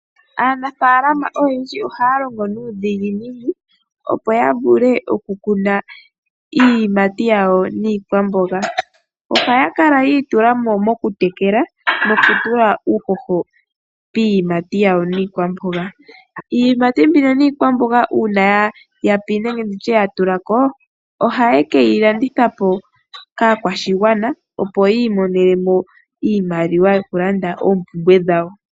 Aanamapya oyendji ohaya longo nuudhiginini, opo ya vule okukuna iiyimati yawo niikwamboga. Ohaya kala yiitula mo mokutekela, oshowo okutula uuhoho piiyimati yamwo niikwamboga. Iiyimati mbika niikwamboga ngele ya yapi nenge ya tula ko, ohaya ka landitha ya mone iimaliwa. Opo ya lande oompumbwe dhawo.